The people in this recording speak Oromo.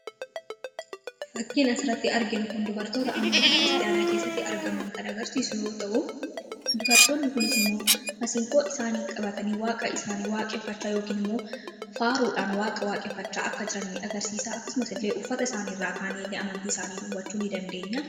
Fakkiin asiratti arginu kun dubartoota amantii kristaanaa keessatti argaman kan agarsiisu ta'u, dubartootni kunis immoo masiinqoo isaanii qabatanii waaqa isaanii waaqeffachaa yookiin immoo faaruudhaan waaqa waaqeffachaa akka jiranni agarsiisa akkasumas illee uffata isaanirraa kaane amantii isaanii dawwachuu ni dandeenya.